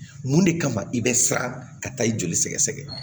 Mun de kama i bɛ siran ka taa i joli sɛgɛsɛgɛ